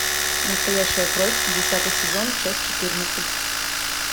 настоящая кровь десятый сезон часть четырнадцать